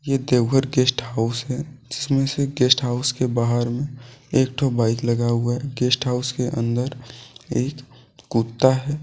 ये Deoghar guest house है जिसमें से गेस्ट हाउस के बाहर में एक ठो बाइक लगा हुआ है गेस्ट हाउस के अंदर एक कुत्ता है।